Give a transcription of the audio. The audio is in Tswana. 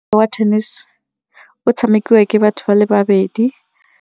wa tennis o tshamekiwa ke batho ba le babedi.